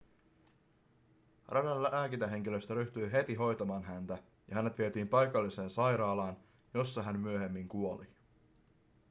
radan lääkintähenkilöstö ryhtyi heti hoitamaan häntä ja hänet vietiin paikalliseen sairaalaan jossa hän myöhemmin kuoli